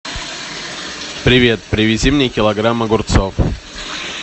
привет привези мне килограмм огурцов